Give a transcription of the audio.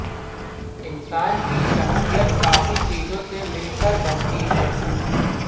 इंसान की शख़्सियत कई चीजों से मिलकर बनती है